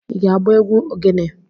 I ga-agba egwu ogene?